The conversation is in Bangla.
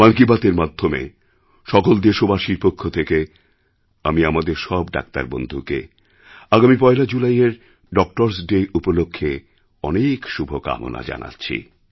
মন কি বাতএর মাধ্যমে সকল দেশবাসীর পক্ষ থেকে আমি আমাদের সব ডাক্তারবন্ধুকে আগামী ১লা জুলাইয়ের ডক্টর্সডে উপলক্ষ্যে অনেক শুভকামনা জানাচ্ছি